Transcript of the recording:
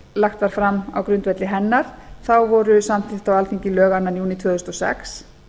lagt var fram á grundvelli hennar voru samþykkt á alþingi lög annars júní tvö þúsund og sex